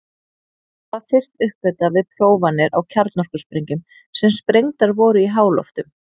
Það var fyrst uppgötvað við prófanir á kjarnorkusprengjum sem sprengdar voru í háloftum.